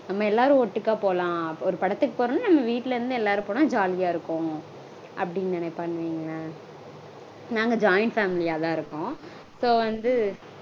நம்ம எல்லாரும் ஒட்டுக்கா போலாம். ஒரு படத்துக்கு போறதுனா நம்ம வீட்ல இருந்து எல்லாரும் போனா ஜாலியா இருக்கும் அப்படினு நெனைப்பானு வைங்களேன்